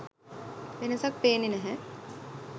වෙනසක් පේන්නේ නැහැ.